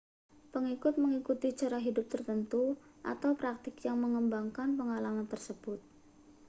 pengikut mengikuti cara hidup tertentu atau praktik yang mengembangkan pengalaman tersebut